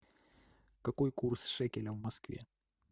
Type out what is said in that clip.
какой курс шекеля в москве